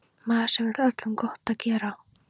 Maður sem vill öllum gott gera.